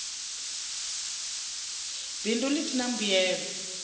bindu ḽi si ḽa mbuyelo